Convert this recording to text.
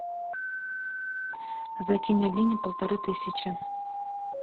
закинь алине полторы тысячи